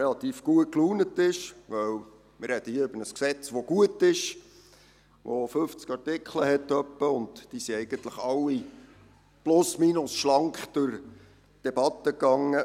Wir sprechen hier über ein Gesetz, das gut ist, welches rund fünfzig Artikel enthält, die eigentlich alle mehr oder weniger schlank durch die Debatte gingen.